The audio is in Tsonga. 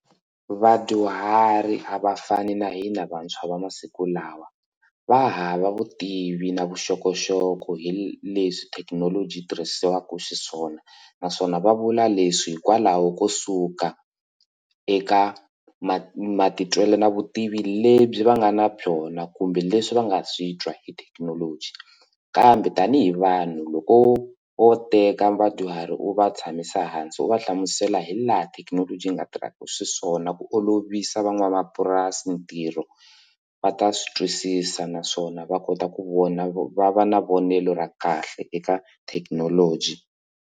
Vadyuhari a va fani na hina vantshwa va masiku lawa va hava vutivi na vuxokoxoko hi leswi thekinoloji yi tirhisiwaka xiswona naswona va vula leswi hikwalaho ko suka eka mati ma matitwelo na vutivi lebyi va nga na byona kumbe leswi va nga swi twa hi thekinoloji kambe tanihi vanhu loko vo teka vadyuhari u va tshamisa hansi u va hlamusela hi laha thekinoloji yi nga tirhaka xiswona ku olovisa van'wamapurasi ntirho va ta swi twisisa naswona va kota ku vona va va na vonelo ra kahle eka thekinoloji.